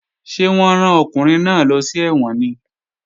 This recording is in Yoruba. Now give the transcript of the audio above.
Ṣé wọ́n rán ọkùnrin náà lọ sí ẹ̀wọ̀n ni?